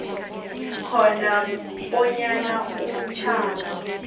khona bonyana umtjhado